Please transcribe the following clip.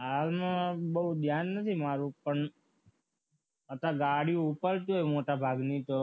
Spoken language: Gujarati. હાલમાં બહુ ધ્યાન નથી મારું પણ અત્યારે ગાડીઓ ઉપર જે મોટા ભાગની તો